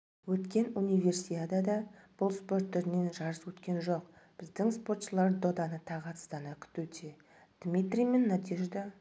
өткен универсиадада бұл спорт түрінен жарыс өткен жоқ біздің спортшылар доданы тағатсыздана күтуде дмитрий мен надежда